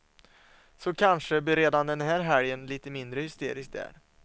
Så kanske blir redan den här helgen lite mindre hysterisk där.